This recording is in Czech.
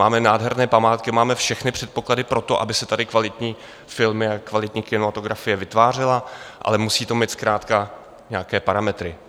Máme nádherné památky, máme všechny předpoklady pro to, aby se tady kvalitní filmy a kvalitní kinematografie vytvářely, ale musí to mít zkrátka nějaké parametry.